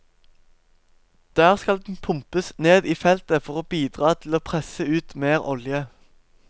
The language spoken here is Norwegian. Der skal den pumpes ned i feltet for å bidra til å presse ut mer olje.